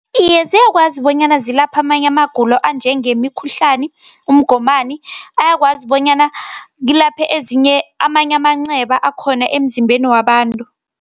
Iye, ziyakwazi bonyana zilaphe amanye amagulo anjengemikhuhlani, umgomani, ayakwazi bonyana kulaphe amanye amanceba akhona emzimbeni wabantu.